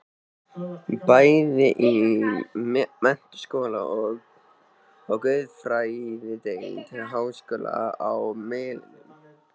Bæði í menntaskóla og guðfræðideild háskólans á Melunum.